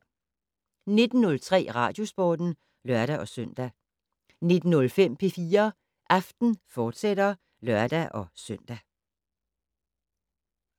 19:03: Radiosporten (lør-søn) 19:05: P4 Aften, fortsat (lør-søn)